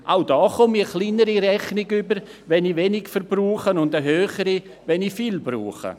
Auch da erhalte ich eine kleinere Rechnung, wenn ich wenig verbrauche, und eine höhere, wenn ich viel verbrauche.